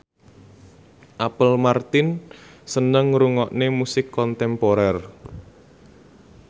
Apple Martin seneng ngrungokne musik kontemporer